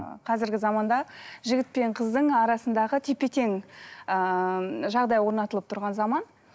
ы қазіргі заманда жігіт пен қыздың арасындағы тепе тең ыыы жағдай орнатылып тұрған заман